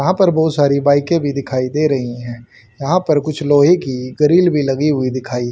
यहां पर बहुत सारी बाईकें भी दिखाई दे रही हैं यहां पर कुछ लोहे की ग्रिल भी लगी हुई दिखाई--